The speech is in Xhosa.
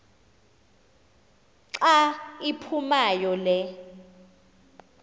xa iphumayo le